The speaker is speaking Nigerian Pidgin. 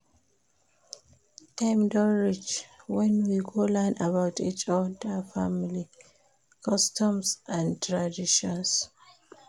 Time don reach wen we go learn about each oda family customs and traditions.